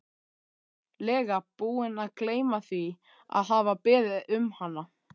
lega búinn að gleyma því að hafa beðið um hana.